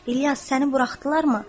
İlyas, səni buraxdılarmı?